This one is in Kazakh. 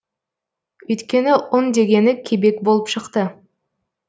өйткені ұн дегені кебек болып шықты